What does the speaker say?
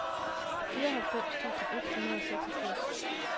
fireoghalvfems tusind et hundrede og seksogfirs